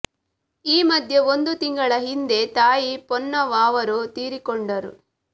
ಈ ಮಧ್ಯೆ ಒಂದು ತಿಂಗಳ ಹಿಂದೆ ತಾಯಿ ಪೊನ್ನವ್ವ ಅವರೂ ತೀರಿಕೊಂಡರು